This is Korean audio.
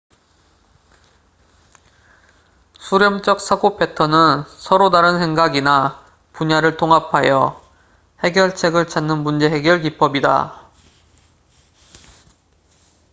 수렴젹 사고 패턴은 서로 다른 생각이나 분야를 통합하여 해결책을 찾는 문제 해결 기법이다